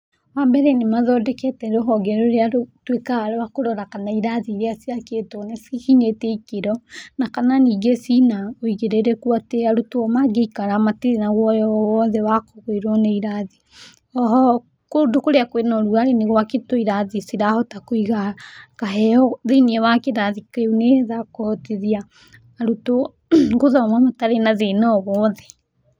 Wambere nĩmathondekete rũhonge rũrĩa rũtuĩkaga rwa kũrora kana irathi iria ciakĩtwo nĩcikinyĩte ikĩro na kana nyingĩ cina wĩigĩrĩrĩku, atĩ arutwo mangĩikara matirĩ na woyo owothe wakũgwĩrwo nĩirathi. Oho kũndũ kũrĩa kwĩna irathi nĩgwakĩtwo irathi cirahota kũiga heho thĩiniĩ wa kĩrathi kĩu nĩgetha kũhotithia arutwo gũthoma matarĩ na thĩna o wothe.